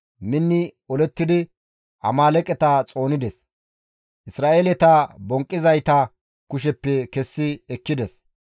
Minni olettidi Amaaleeqeta xoonides; Isra7eeleta bonqqizayta kusheppe kessi ekkides.